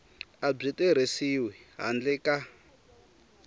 a byi tirhisiwi handle ka